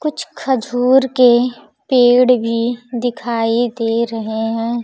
कुछ खजूर के पेड़ भी दिखाई दे रहे हैं।